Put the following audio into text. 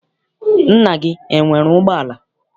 Nna gị enwere ụgbọala?